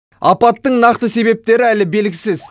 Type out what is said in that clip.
апаттың нақты себептері әлі белгісіз